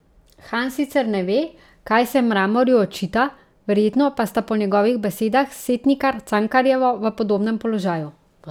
Han sicer ne ve, kaj se Mramorju očita, verjetno pa sta po njegovih besedah s Setnikar Cankarjevo v podobnem položaju.